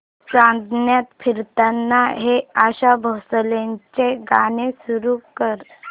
चांदण्यात फिरताना हे आशा भोसलेंचे गाणे सुरू कर